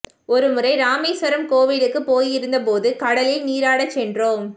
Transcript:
ஒரு முறை ராமேஸ்வரம் கோவிலுக்குப் போயிருந்த போது கடலில் நீராடச் சென்றோம்